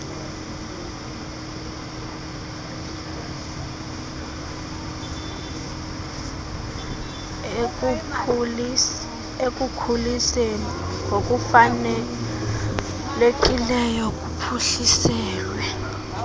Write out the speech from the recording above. ekukhuliseni ngokufanelekileyo kuphuhliselwe